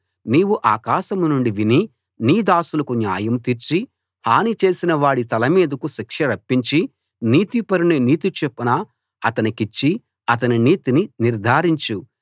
నీవు ఆకాశం నుండి విని నీ దాసులకు న్యాయం తీర్చి హాని చేసినవాడి తల మీదికి శిక్ష రప్పించి నీతిపరుని నీతిచొప్పున అతనికిచ్చి అతని నీతిని నిర్ధారించు